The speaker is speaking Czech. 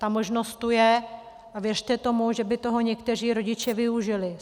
Ta možnost tu je a věřte tomu, že by toho někteří rodiče využili.